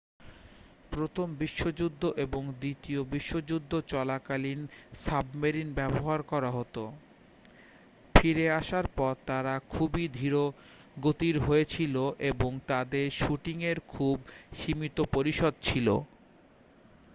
প্রথম বিশ্বযুদ্ধ এবং দ্বিতীয় বিশ্বযুদ্ধ চলাকালীন সাবমেরিন ব্যবহার করা হত ফিরে আসার পর তারা খুবই ধীরগতির হয়েছিল এবং তাদের শুটিংয়ের খুব সীমিত পরিসর ছিল